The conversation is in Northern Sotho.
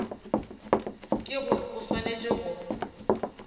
ke gore o swanetše go